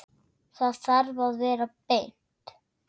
Það þarf að vera beint.